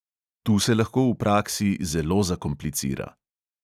Tu se lahko v praksi zelo zakomplicira.